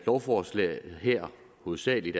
lovforslaget her hovedsagelig